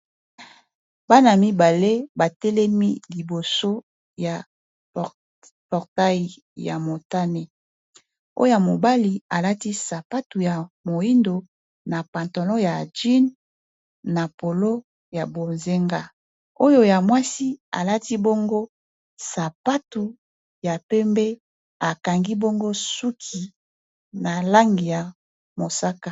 bana mibale batelemi liboso ya portai ya motane oya mobali alati sapatu ya moindo na pantono ya ajine na polo ya bozenga oyo ya mwasi alati bongo sapatu ya pembe akangi bongo suki na langi ya mosaka